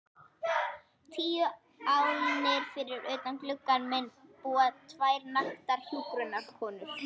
Tíu álnir fyrir utan gluggann minn búa tvær naktar hjúkrunarkonur.